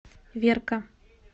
верка